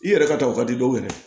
I yɛrɛ ka taw ka di dɔw ye